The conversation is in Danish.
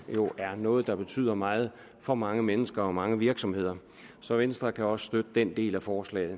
jo er noget der betyder meget for mange mennesker og mange virksomheder så venstre kan også støtte den del af forslaget